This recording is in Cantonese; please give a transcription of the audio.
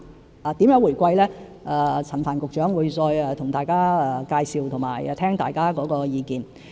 至於如何回饋乘客，陳帆局長會再向大家介紹和聆聽大家的意見。